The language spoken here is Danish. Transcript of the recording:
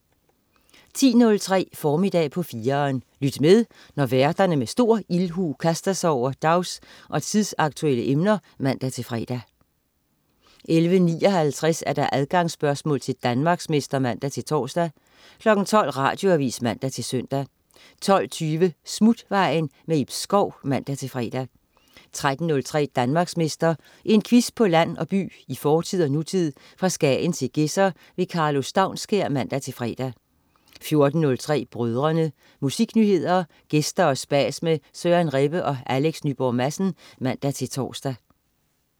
10.03 Formiddag på 4'eren. Lyt med, når værterne med stor ildhu kaster sig over dags- og tidsaktuelle emner (man-fre) 11.59 Adgangsspørgsmål til Danmarksmester (man-tors) 12.00 Radioavis (man-søn) 12.20 Smutvejen. Ib Schou (man-fre) 13.03 Danmarksmester. En quiz på land og by, i fortid og nutid, fra Skagen til Gedser. Karlo Staunskær (man-fre) 14.03 Brødrene. Musiknyheder, gæster og spas med Søren Rebbe og Alex Nyborg Madsen (man-tors)